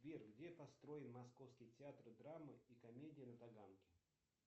сбер где построен московский театр драмы и комедии на таганке